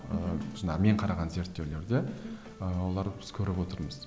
ыыы мен қараған зерттеулерді ы олар біз көріп отырмыз